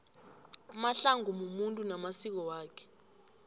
umahlangu mumuntu namasiko wakhe